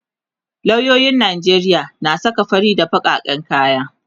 loyoyin Najeriya na saka fari na bakaken kaya